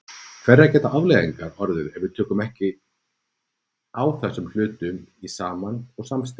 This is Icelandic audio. Hverjar geta afleiðingarnar orðið ef við tökum ekki á þessum hlutum saman og samstillt?